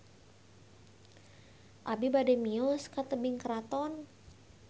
Abi bade mios ka Tebing Keraton